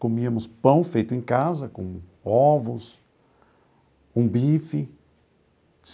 Comíamos pão feito em casa, com ovos, com bife.